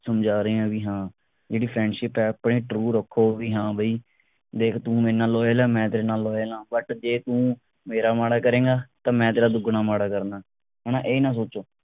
ਸਮਝਾ ਰਹੇ ਆ ਕਿ ਬਈ ਹਾਂ ਜਿਹੜੀ friendship ਐ ਆਪਣੀ true ਰੱਖੋ ਬਈ ਹਾਂ ਬਈ ਦੇਖ ਤੂੰ ਮੇਰੇ ਨਾਲ loyal ਆ ਮੈਂ ਤੇਰੇ ਨਾਲ loyal ਆ but ਜੇ ਤੂੰ ਮੇਰਾ ਮਾੜਾ ਕਰੇਗਾ ਤਾਂ ਮੈਂ ਤੇਰਾ ਦੁੱਗਣਾ ਮਾੜਾ ਕਰਨਾ ਹਣਾ ਇਹ ਨਾ ਸੋਚੋ